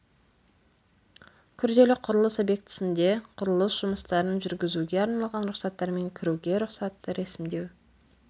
күрделі құрылыс объектісінде құрылыс жұмыстарын жүргізуге арналған рұқсаттар мен кіруге рұқсатты рәсімдеу